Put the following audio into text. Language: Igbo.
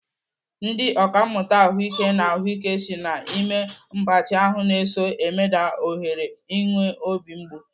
Ndị ọkàmmụta ahụike n'ahụike si na ime mgbatị ahụ na-eso emeda ohere inwe obi mgbu.